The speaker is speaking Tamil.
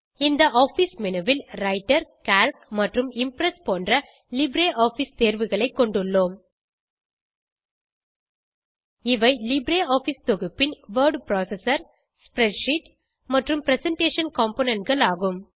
இந்த ஆஃபிஸ் மேனு ல் ரைட்டர் கால்க் மற்றும் இம்ப்ரெஸ் போன்ற லிப்ரியாஃபிஸ் தேர்வுகளை கொண்டுள்ளோம் இவை லிப்ரியாஃபிஸ் தொகுப்பின் வோர்ட் புரோசெசர் ஸ்ப்ரெட்ஷீட் மற்றும் பிரசன்டேஷன் componentகள் ஆகும்